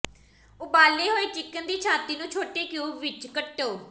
ਉਬਾਲੇ ਹੋਏ ਚਿਕਨ ਦੀ ਛਾਤੀ ਨੂੰ ਛੋਟੇ ਕਿਊਬ ਵਿੱਚ ਕੱਟੋ